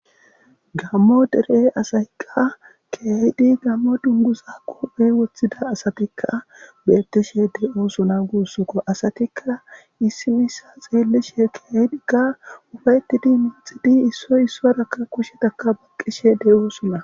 Gammo dere asayikka keahidi gammo dungusa qophey woththida asatikka beettishe deusuna guussukko asatikka issimisa xeellishe keaydi ka ufaytidi minxidi issoy issorakka kushetakka baqqishe de7osuna.